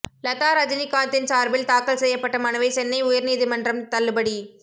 லதா ரஜினிகாந்தின் சார்பில் தாக்கல் செய்யப்பட்ட மனுவை சென்னை உயர்நீதிமன்றம் தள்ளுபடி